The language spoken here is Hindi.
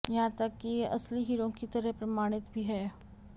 यहां तक कि ये असली हीरों की तरह प्रमाणित भी हैं